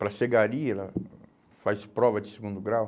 Para ser gari, ela faz prova de segundo grau.